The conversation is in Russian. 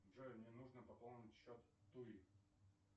джой мне нужно пополнить счет туи